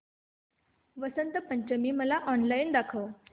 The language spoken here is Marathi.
वसंत पंचमी मला ऑनलाइन दाखव